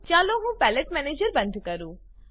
ચાલો હું palette manager બંધ કરું